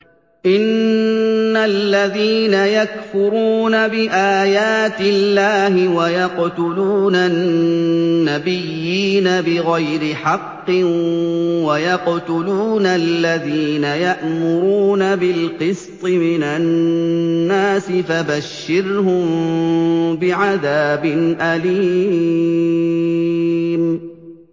إِنَّ الَّذِينَ يَكْفُرُونَ بِآيَاتِ اللَّهِ وَيَقْتُلُونَ النَّبِيِّينَ بِغَيْرِ حَقٍّ وَيَقْتُلُونَ الَّذِينَ يَأْمُرُونَ بِالْقِسْطِ مِنَ النَّاسِ فَبَشِّرْهُم بِعَذَابٍ أَلِيمٍ